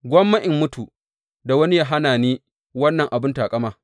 Gwamma in mutu, da wani yă hana ni wannan abin taƙama.